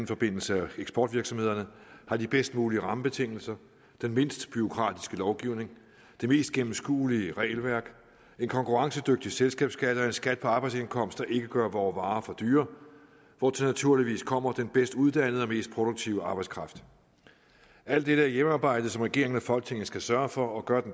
forbindelse eksportvirksomhederne har de bedst mulige rammebetingelser den mindst bureaukratiske lovgivning det mest gennemskuelige regelværk en konkurrencedygtig selskabsskat og en skat på arbejdsindkomst der ikke gør vore varer for dyre hvortil naturligvis kommer den bedst uddannede og mest produktive arbejdskraft alt dette er hjemmearbejde som regeringen og folketinget skal sørge for og gør